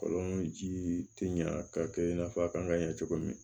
Kɔlɔnji tɛ ɲa ka kɛ i n'a fɔ a kan ka ɲɛ cogo min